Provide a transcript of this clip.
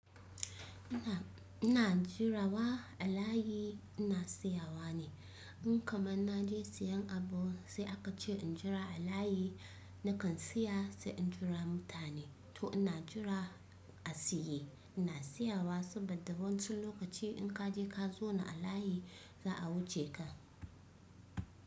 Ina, ina jira wa a layi ina siyawa ne. In kamar naje siyan abu sai akace in jira a layi nakan tsaya sai injira mutane to ina jira a tsaye, ina tsayawa saboda wainsu lokaci in ka je ka zauna a layi za a wuce ka.